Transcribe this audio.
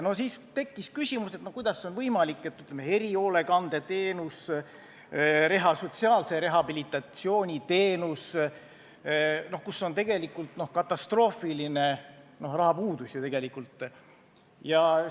Siis tekkis küsimus, kuidas on võimalik selline olukord, et kuigi, ütleme, erihoolekandeteenuse, sotsiaalse rehabilitatsiooni teenuse puhul on tegelikult katastroofiline rahapuudus, jääb äkki raha üle.